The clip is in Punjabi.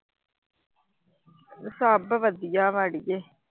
ਸਭ ਵਧੀਆ